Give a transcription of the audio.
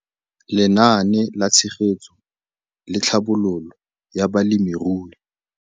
Lenaane la Tshegetso le Tlhabololo ya Balemirui.